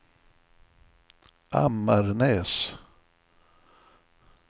Ammarnäs